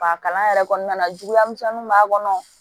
Ba kalan yɛrɛ kɔnɔna na juguya misɛnninw b'a kɔnɔ